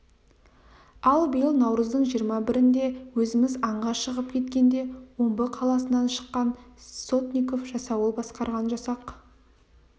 ал биыл наурыздың жиырма бірінде өзіміз аңға шығып кеткенде омбы қаласынан шыққан сотников жасауыл басқарған жасақ